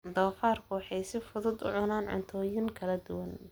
Doofaarku waxay si fudud u cunaan cuntooyin kala duwan.